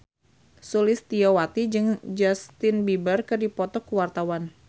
Sulistyowati jeung Justin Beiber keur dipoto ku wartawan